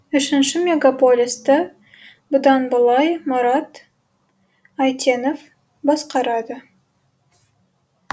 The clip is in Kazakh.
үшінші мегаполисті бұдан былай мұрат әйтенов басқарады